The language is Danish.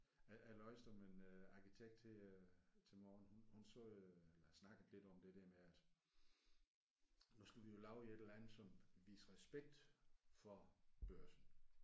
Jeg jeg læste om en øh arkitekt her til morgen hun hun sagde øh eller snakkede lidt om det der med at nu skal vi jo lave et eller andet som viser respekt for Børsen